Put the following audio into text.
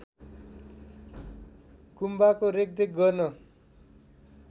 गुम्बाको रेखदेख गर्न